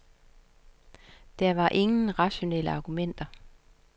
Der var ingen rationelle argumenter.